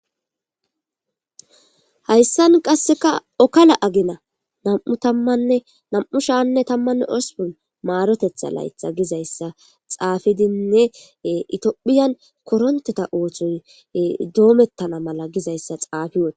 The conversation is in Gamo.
Hayssan qasseka okala agina nam7u tammanne nam7u shaanne tammanne ospon maarotetha laytha gizayssa xaafidinne itiophiyan koronteta oothoy doomettana mala gizayssa xaafi woda